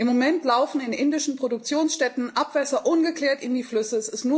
Im Moment laufen in indischen Produktionsstätten Abwässer ungeklärt in die Flüsse.